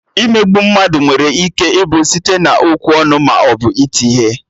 Imegbu mmadụ nwere ike ịbụ site na-okwu ọnụ maọbụ iti ihe